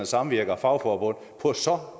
samvirke og fagforbund på så